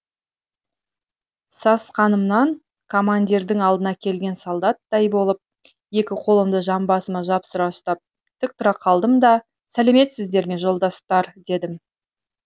сасқанымнан командирдің алдына келген солдаттай болып екі қолымды жамбасыма жапсыра ұстап тік тұра қалдым да сәлеметсіздер ме жолдастар дедім